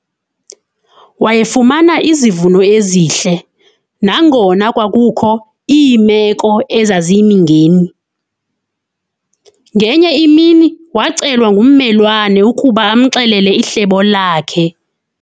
Wayefumana izivuno ezihle nangona kwakukho iimeko ezaziyimingeni. Ngenye imini wacelwa ngummelwane ukuba amxelele ihlebo lakhe.